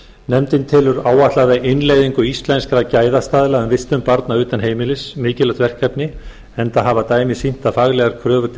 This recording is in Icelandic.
nefndin telur áætlaða innleiðingu íslenskra gæðastaðla um vistun barna utan heimilis mikilvægt verkefni enda hafa dæmi sýnt að faglegar kröfur til